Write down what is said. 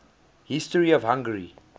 history of hungary